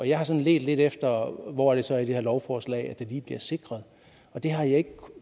jeg har sådan ledt lidt efter hvor det så er i det her lovforslag at det lige bliver sikret og det har jeg ikke kunnet